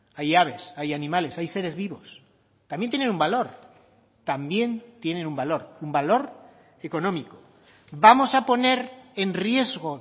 hay aves hay animales hay seres vivos también tienen un valor también tienen un valor un valor económico vamos a poner en riesgo